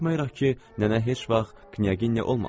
Baxmayaraq ki, nənə heç vaxt Knyaginya olmamışdı.